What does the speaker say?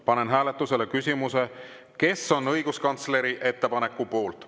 Panen hääletusele küsimuse, kes on õiguskantsleri ettepaneku poolt.